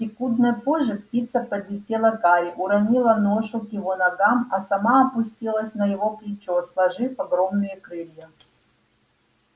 секундой позже птица подлетела к гарри уронила ношу к его ногам а сама опустилась на его плечо сложив огромные крылья